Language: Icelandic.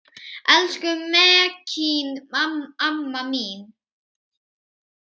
Elsku Mekkín amma mín.